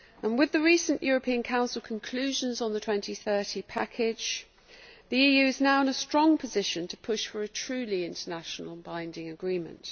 With the recent European Council conclusions on the 2030 package, the EU is now in a strong position to push for a truly international and binding agreement.